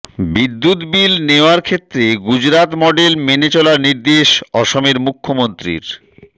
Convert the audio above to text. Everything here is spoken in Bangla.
বিদ্যুৎ বিল নেওয়ার ক্ষেত্রে গুজরাত মডেল মেনে চলার নির্দেশ অসমের মুখ্যমন্ত্রীর